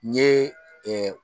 N ɲe